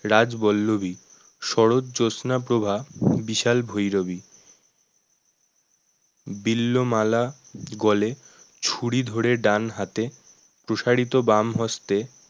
রাজবল্লভী শরৎ জ্যোৎস্নাপ্রভা বিশাল ভৈরবী বিল্লো মালা গলে ছুরি ধরে ডানহাতে প্রসারিত বাম হস্তে